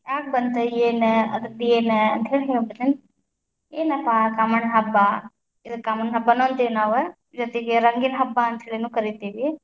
ಹ್ಯಾಗ್ ಬಂತ? ಏನ? ಅದರ್ದೇನ? ಅಂತ್ಹೇಳಿ ಹೇಳ್ಬಿಡ್ತೀನಿ, ಏನಪ್ಪಾ ಕಾಮನ ಹಬ್ಬ ಇದನ್ ಕಾಮಣ್ಣ ಹಬ್ಬ‌ ಅಂತೀವ ನಾವ್, ಜೊತಿಗೆ ರಂಗಿನ ಹಬ್ಬ ಅಂತ್ಹೇಳಿನು ಕರಿತೀವಿ.